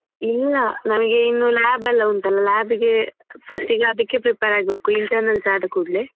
ಇಲ್ಲ ನಮಿಗೆ ಇನ್ನು lab ಎಲ್ಲ ಉಂಟಲ್ಲ lab ಗೆ first ಗೆ ಅದಿಕ್ಕೆ prepare ಆಗ್ಬೇಕು internals ಆದ ಕೂಡ್ಲೇ.